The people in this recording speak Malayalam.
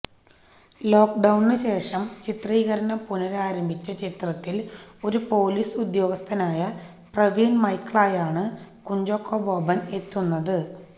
ലോക്ക് ഡൌണിന് ശേഷം ചിത്രീകരണം പുനഃരാരംഭിച്ച ചിത്രത്തിൽ ഒരു പോലീസ് ഉദ്യോഗസ്ഥനായ പ്രവീൺ മൈക്കിളായാണ് കുഞ്ചാക്കോ ബോബൻ എത്തുന്നത്